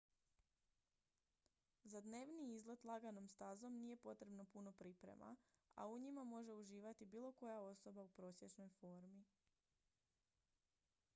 za dnevni izlet laganom stazom nije potrebno puno priprema a u njima može uživati bilo koja osoba u prosječnoj formi